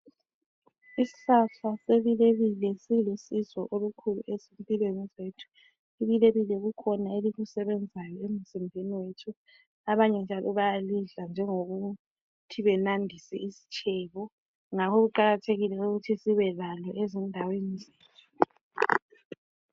Isihlahla sebileile silusizo olukhulu ephilweni zethu. Ibilebile kukhona elikusebenzayo emzimbeni wethu. Abanye njalo bayalidla njengokuthi banandisa isitshebo. Ngakho kuqakathekile ukuthi sibelalo ezindaweni zethu.